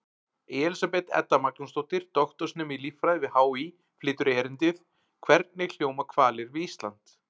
Elísabet Edda Magnúsdóttir, doktorsnemi í líffræði við HÍ, flytur erindið: Hvernig hljóma hvalir við Ísland?